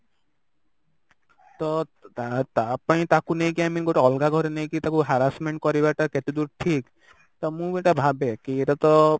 ତ ତା ତା ପାଇଁ ତାକୁ ନେଇକି i mean ଗୋଟେ ଅଲଗା ଘରେ ନେଇକି ତାକୁ Harrasment କରିବାଟା କେତେଦୂର ଠିକ ତ ମୁଁ ଏଇଟା ଭାବେ କି ଏଇଟା ତ